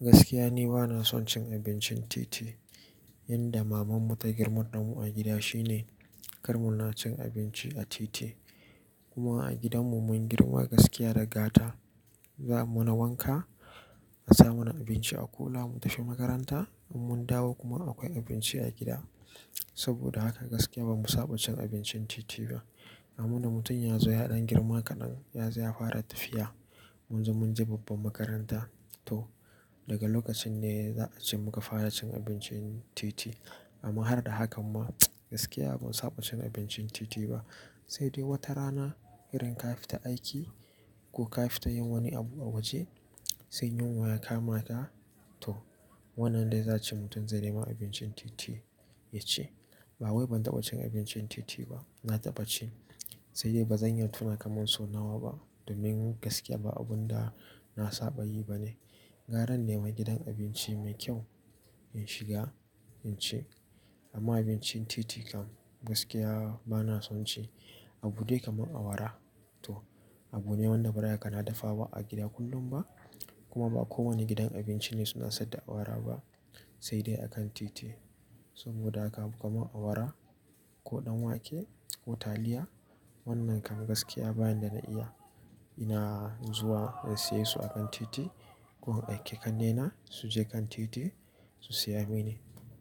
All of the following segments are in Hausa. Gaskiya ni bana son cin abincin titi. Yanda mamanmu ta girmar damu a gida shine kar muna cin abinci a titi. Kuma a gidanmu mun girma gaskiya da gata. Za a muna wanka, a sa mana abinci a kula mu tafi makaranta in mun dawo kuma akwai abinci a gida. Saboda haka gaskiya ba mu saba cin abincin titi ba. Amma na mutum ya zo ya ɗan girma kaɗan, ya zai fara tafiya. Mun ji mun je babban makaranta to daga lokacin ne za a ce muka fara cin abincin titi. Amma har da hakan ma gaskiya ba mu saba cin abincin titi ba. Sai dai wata rana irin ka fita aiki ko ka fita yin wani abu a waje sai yunwa ya kama ka to wannan dai za ace mutum zai nema abincin titi ya ci. Ba wai ban taɓa cin abincin titi ba, na taɓa ci. Sai dai ba zan iya tuna kamar so nawa ba domin gaskiya ba abun da na saba yi ba ne. Garan nema gidan abinci mai kyau in shiga in ci. Amma abincin titi kam gaskiya bana son ci. Abu dai kamar awara to abu ne wanda bara kana dafawa a gida kullum ba. Kuma ba kowane gidan abinci ne suna saida awara ba sai dai a kan titi. Saboda haka kuma awara ko ɗan wake ko taliya wannan kam gaskiya bayan da na iya ina zuwa in saye su a kan titi ko in aike ƙannena su je kan titi su saya mini.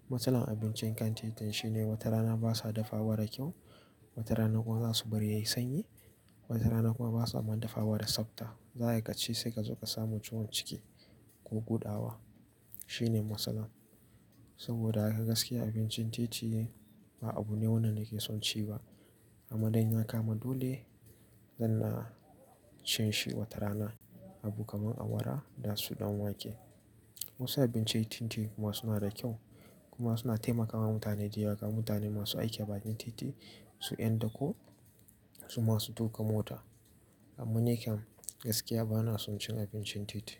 Matsalar abincin kan titin shine wata rana basa dafawa da kyau, wata rana kuma za su bari yayi sanyi, wata rana kuma basa man dafawa da tsapta. Zaa ka ci sai ka zo ka samu ciwon ciki ko gudawa shine matsalar. Saboda haka gaskiya abincin titi ba abu ne wanda nake son ci ba. Amma dai in ya kama dole zan na cin shi wata rana. Abu kamar awara da su ɗan wake. Wasu abincin titi kuma suna da kyau kuma suna taimakawa mutane da yawa mutane masu aiki a bakin titi su ƴan da ko su masu tuƙa mota. Amma ni kam gaskiya bana son cin abincin titi.